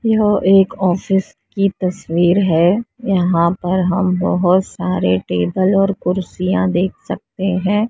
यह एक ऑफिस की तस्वीर है यहां पर हम बहुत सारे टेबल और कुर्सियां देख सकते हैं।